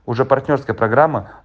уже партнёрская программа